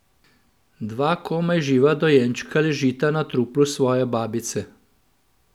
Dva komaj živa dojenčka ležita na truplu svoje babice.